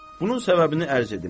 Bunun səbəbini ərz edim.